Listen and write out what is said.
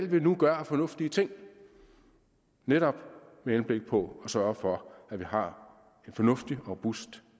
vi nu gør af fornuftige ting er netop med henblik på at sørge for at vi har en fornuftig og robust